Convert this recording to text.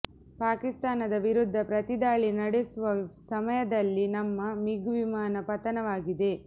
ಪಾಕಿಸ್ತಾನದ ವಿರುದ್ಧ ಪ್ರತಿದಾಳಿ ನಡೆಸುವ ಸಮಯದಲ್ಲಿ ನಮ್ಮ ಮಿಗ್ ವಿಮಾನ ಪತನವಾಗಿದೆ